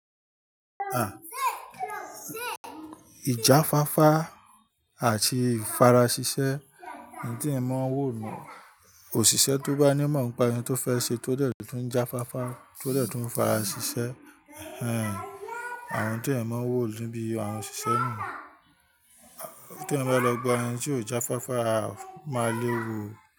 Àn, ìjafáfá àti ìfarasisẹ́ ni tí èèyàn máa ń wò ní òṣìṣẹ́ tó bá ní ìmọ̀ nípa ohun tó fẹ́ ṣe tó dẹ̀ tún jafáfá tó dẹ̀ tún farasisẹ́. Hhen, àwọn tí èèyàn máa ń wò níbi àwọn òṣìṣẹ́ ni. Tí o bá lọ gba ẹni tí ò jafáfá a máa lè wan ó.